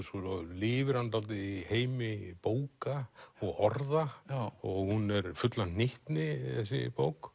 svo lifir hann dálítið í heimi bóka og orða hún er full af hnyttni þessi bók